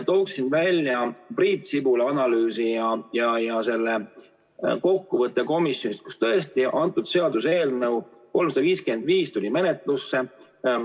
Tooksin välja Priit Sibula analüüsi ja selle kokkuvõtte komisjonist, kus antud seaduseelnõu 355 tuli menetlusse.